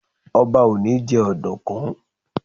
Ọba ò ní jẹ́ ọ̀dùkún.